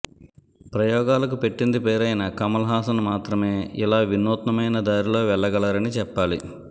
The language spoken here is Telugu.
ప్రయోగాలకు పెట్టింది పేరైన కమల్ హాసన్ మాత్రమే ఇలా వినూత్నమైన దారిలో వెళ్లగలరని చెప్పాలి